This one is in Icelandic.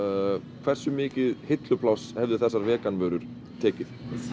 hversu mikið hillupláss hefðu þessar vegan vörur tekið